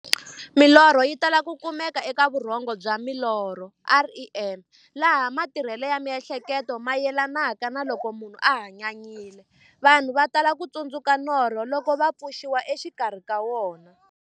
Milorho yi tala ku kumeka eka vurhongo bya milorho, REM, laha matirhele ya mi'hleketo mayelanaka na loko munhu a hanyanyile. Vanhu va tala ku tsundzuka norho loko va pfuxiwa exikarhi ka wona.